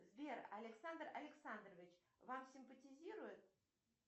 сбер александр александрович вам симпатизирует